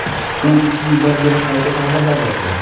U ikki yildan beri qayta ta’mirlanyapti.